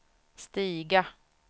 stiga